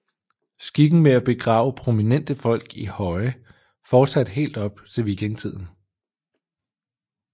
Skikken med at begrave prominente folk i høje fortsatte helt op til vikingetiden